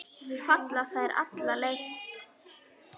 Falla þær allar fyrir þér?